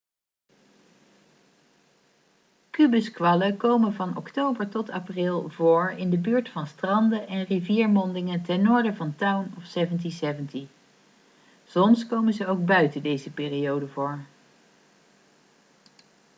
kubuskwallen komen van oktober tot april voor in de buurt van stranden en riviermondingen ten noorden van town of 1770 soms komen ze ook buiten deze periode voor